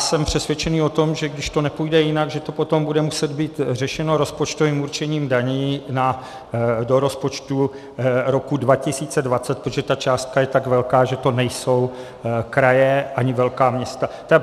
Jsem přesvědčen o tom, že když to nepůjde jinak, že to potom bude muset být řešeno rozpočtovým určením daní do rozpočtu roku 2020, protože ta částka je tak velká, že to nejsou kraje ani velká města.